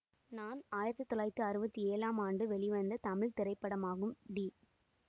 நான் ஆயிரத்தி தொள்ளாயிரத்தி அறுபத்தி ஏழாம் ஆண்டு வெளிவந்த தமிழ் திரைப்படமாகும் டி